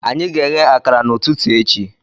Anyị ga-eghe akara n'ụtụtụ echi